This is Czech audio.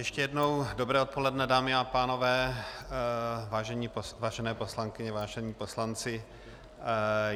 Ještě jednou dobré odpoledne, dámy a pánové, vážené poslankyně, vážení poslanci.